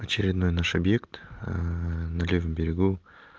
очередной наш объект на левом берегу